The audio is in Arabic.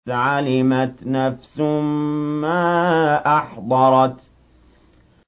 عَلِمَتْ نَفْسٌ مَّا أَحْضَرَتْ